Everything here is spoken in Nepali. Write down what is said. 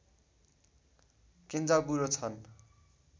केन्जाबुरो छन्